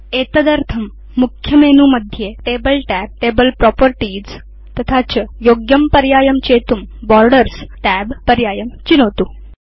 एतदर्थं मुख्यमेनुमध्ये table tab table properties तथा च योग्यं पर्यायं चेतुं बोर्डर्स् tab पर्यायं चिनोतु